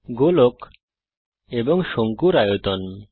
গোলক এবং শঙ্কুর আয়তন